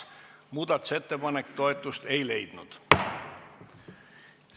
Muudatusettepanek toetust ei leidnud.